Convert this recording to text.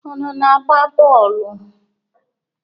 Unu na-agba bọọlụ?